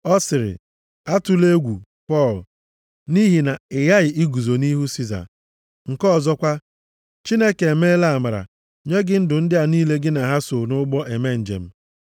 ọ sịrị, ‘Atụla egwu Pọl, nʼihi na ị ghaghị iguzo nʼihu Siza. Nke ọzọkwa, Chineke emeela amara nye gị ndụ ndị a niile gị na ha so nʼụgbọ eme njem.’